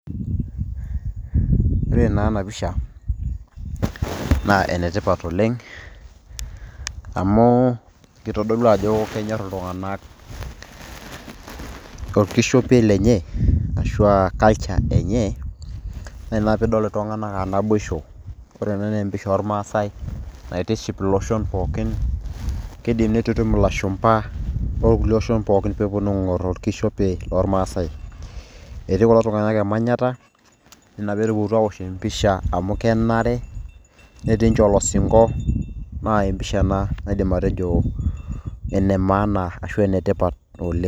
Ore naa enapisha, na enetipat oleng' amu, kitodolu ajo kenyor iltung'anak orkishopei lenye, ashu aa culture enye, na ina naa pidol iltung'anak a naboisho. Ore ena na empisha ormaasai naitiship iloshon pookin. Kiidim nitutum ilashumpa orkulie oshon pookin peponu aing'or orkishopei lormaasai. Etii kulo tung'anak emanyata, enaa petupukutuo aosh empisha amu kenare, netii nche olosinko, na empisha ena naidim atejo ene maana ashu enetipat oleng'.